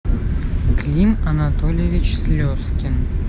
клим анатольевич слезкин